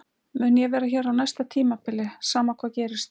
Mun ég vera hér á næsta tímabili sama hvað gerist?